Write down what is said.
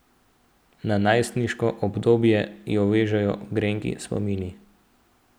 Na najstniško obdobje jo vežejo grenki spomini.